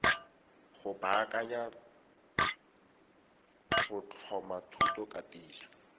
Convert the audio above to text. go baakanya go tlhoma thutokatiso